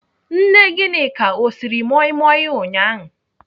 Nne Gịnịka ọ siri moi moi ụnyaahụ?